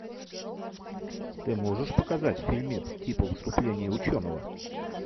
ты можешь показать фильмец типо выступление ученого